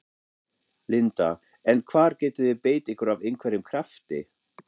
Linda: En hvar getið þið beitt ykkur af einhverjum krafti?